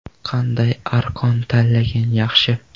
Qanday arqon tanlagan yaxshi?